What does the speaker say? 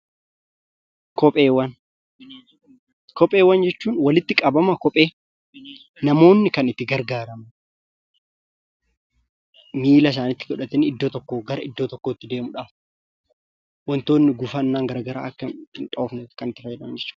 kopheewwan jechuun walitti qabama kophee namoonni kan itti gargaaraman, miila isaaniitti godhatanii iddoo tokkoo gara iddoo tokkotti deemuudhaaf, wantoonni gufannaan gara garaa akka hindhoofneef kan itti fayyadaman jechuudha.